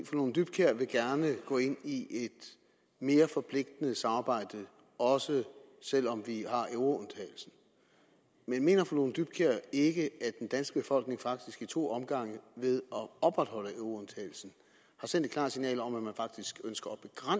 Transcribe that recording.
fru lone dybkjær vil gerne gå ind i et mere forpligtende samarbejde også selv om vi har euroundtagelsen men mener fru lone dybkjær ikke at den danske befolkning faktisk i to omgange ved at opretholde euroundtagelsen har sendt et klart signal om at man faktisk ønsker